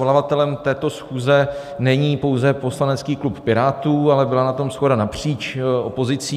Svolavatelem této schůze není pouze poslanecký klub Pirátů, ale byla na tom shoda napříč opozicí.